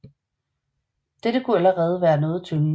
Dette kunne allerede være noget tyngende